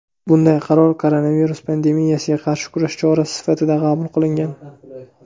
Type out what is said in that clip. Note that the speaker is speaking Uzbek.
Bunday qaror koronavirus pandemiyasiga qarshi kurash chorasi sifatida qabul qilingan.